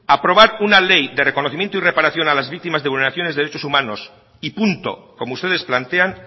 aprobar una ley de reconocimiento y reparación a las víctimas de vulneraciones de derechos humanos y punto como ustedes plantean